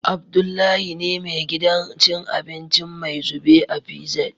Abdullahi ne me gidan cin abinci "maizube " a PZ